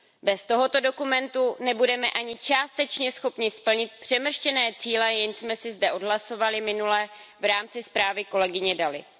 Bez toho dokumentu nebudeme ani částečně schopni splnit přemrštěné cíle, jež jsme si zde odhlasovali minule v rámci zprávy kolegyně Dalliové.